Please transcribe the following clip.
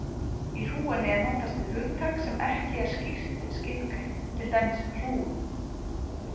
Í hrúgunni er notast við hugtak sem ekki er skýrt skilgreint, til dæmis hrúgu.